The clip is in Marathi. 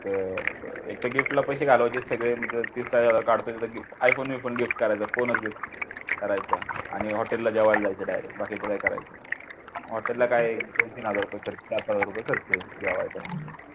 अं एकतर gift ला पैसे घालायचे सगळे मग gift iPhone b phone gift करा करायचा phone gift करायचा आणि hotel ला जेवायला जायचं direct बाकी काही करायचं नाही hotel ला काय दोन-तीन हजार रुपये चार पाच हजार रुपये खर्च जेवायला